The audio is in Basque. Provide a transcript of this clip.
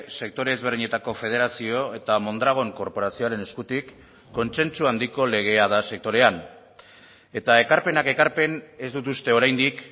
sektore ezberdinetako federazio eta mondragon korporazioaren eskutik kontsentsu handiko legea da sektorean eta ekarpenak ekarpen ez dut uste oraindik